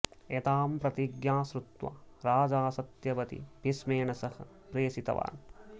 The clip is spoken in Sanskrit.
एतां प्रतिज्ञां श्रुत्वा राजा सत्यवतीं भीष्मेण सह प्रेषितवान्